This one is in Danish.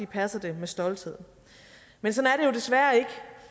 passer det med stolthed men sådan er det jo desværre ikke